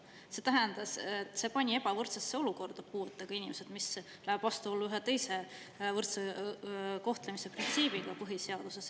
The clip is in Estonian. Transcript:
See pani puuetega inimesed ebavõrdsesse olukorda, mis läheb vastuollu ühe teise, võrdse kohtlemise printsiibiga põhiseaduses.